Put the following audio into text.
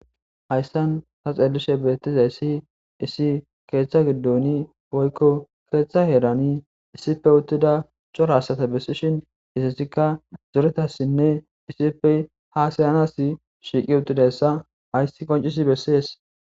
hayssan ta xellishe beettiza issi issi keeththa giddoni boykko keeththa heerani issipe uttida corasata bessishin isissikka zoretassinne issippe ha sayanas shiiqi uttidayssa hayssi qoncisi bessees